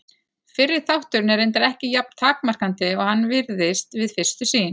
Fyrri þátturinn er reyndar ekki jafn takmarkandi og hann virðist við fyrstu sýn.